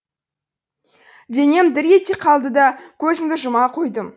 денем дір ете қалды да көзімді жұма қойдым